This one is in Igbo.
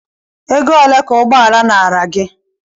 Ego ole ka ụgbọala nara gị?